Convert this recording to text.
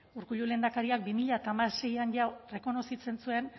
urkullu lehendakariak bi mila hamaseian jada rekonozitzen zuen